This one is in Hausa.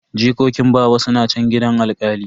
Jikokin baba suna chan gidan alkali.